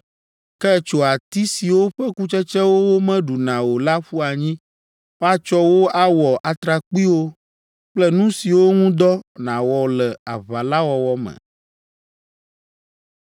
Ke tso ati siwo ƒe kutsetsewo womeɖuna o la ƒu anyi; woatsɔ wo awɔ atrakpuiwo kple nu siwo ŋu dɔ nàwɔ le aʋa la wɔwɔ me.”